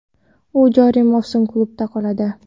u joriy mavsum klubda qoladi.